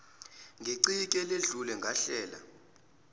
ngeciki eledlule ngahlela